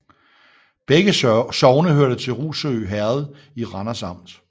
Begge sogne hørte til Rougsø Herred i Randers Amt